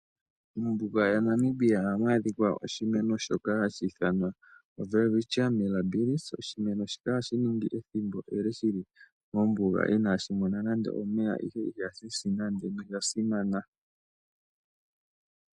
Mombuga yaNamibia ohamu adhika oshimeno shoka hashi ithanwa oWelwichia Millabilis. Oshimeno shika ohashi ningi ethimbo ele shi li mombuga inashi mona nando omeya. Ihe iha shisi nande. Osha simana.